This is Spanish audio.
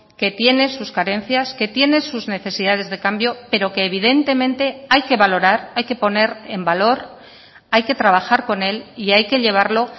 que tiene sus carencias que tiene sus necesidades de cambio pero que evidentemente hay que valorar hay que poner en valor hay que trabajar con él y hay que llevarlo